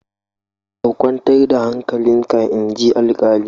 Ka kwantar da hankalinka inji alkalin.